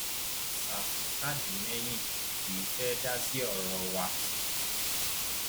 ṣàfù tàdí mẹyìn kì í fẹẹ dá sí ọrọ wa